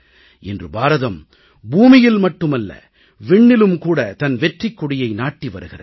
இன்று பாரதம் பூமியில் மட்டுமல்ல விண்ணிலும் கூடத் தன் வெற்றிக்கொடியை நாட்டி வருகிறது